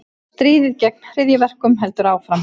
Stríðið gegn hryðjuverkum heldur áfram